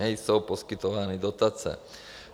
Nejsou poskytovány dotace.